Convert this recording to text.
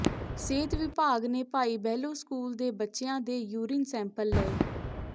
ਸਿਹਤ ਵਿਭਾਗ ਨੇ ਭਾਈ ਬਹਿਲੋ ਸਕੂਲ ਦੇ ਬੱਚਿਆਂ ਦੇ ਯੂਰਿਨ ਸੈਂਪਲ ਲਏ